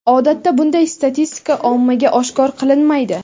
Odatda bunday statistika ommaga oshkor qilinmaydi.